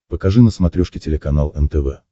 покажи на смотрешке телеканал нтв